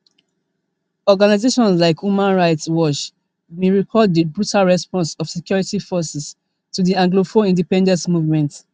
organisations like human rights watch bin record di brutal response of security forces to di anglophone independence movement